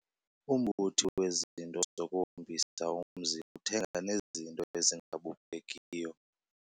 Umbuthi wezinto zokuhombisa umzi uthenga nezinto ezingabukekiyo.